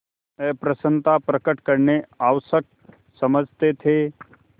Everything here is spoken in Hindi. अप्रसन्नता प्रकट करना आवश्यक समझते थे